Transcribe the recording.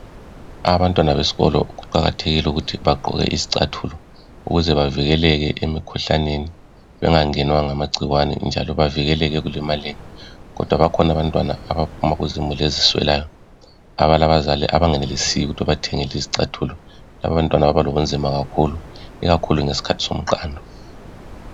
Abantwana besikolo kuqakathekile ukuthi bagqoke izicathulo ukuze bavikeleke emikhuhlaneni bengangenwa ngamagcikwane njalo bavikeleke ekulimaleni kodwa bakhona abantwana abaphuma kuzimuli eziswelayo abalabazali abangenelisiyo ukuthi bathenge izicathulo laba bantwana balobunzima kakhulu ikakhulu ngesikhathi somqando.